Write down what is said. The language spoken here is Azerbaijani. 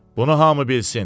Bunu hamı bilsin.